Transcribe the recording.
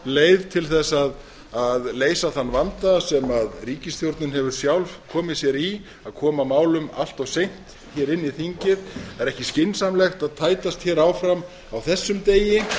leið til að leysa þann vanda sem ríkisstjórnin hefur sjálf komið sér í að koma að málum allt of seint inn í þingið það er ekki skynsamlegt að tætast hér áfram á þessum degi